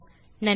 நன்றி